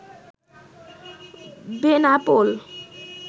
Benapole